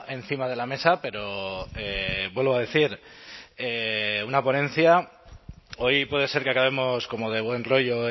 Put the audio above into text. encima de la mesa pero vuelvo a decir una ponencia hoy puede ser que acabemos como de buen rollo